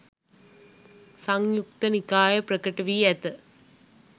සංයුක්ත නිකාය ප්‍රකට වී ඇත.